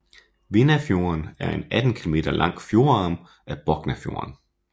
Vindafjorden er en 18 kilometer lang fjordarm af Boknafjorden